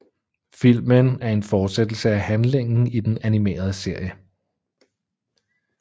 Filmen er en fortsættelse af handlingen i den animerede serie